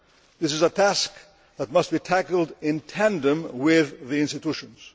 This is a task that must be tackled in tandem with the institutions.